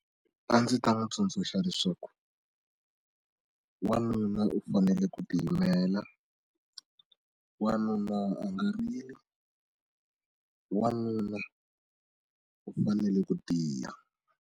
A ndzi ta n'wi tsundzuxa leswaku wanuna u fanele ku tiyimela wanuna a nga rili wanuna u fanele ku tiya.